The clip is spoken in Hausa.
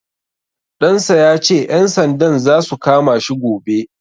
Ɗan sa ya ce, ƴan sandan za su kama shi gobe.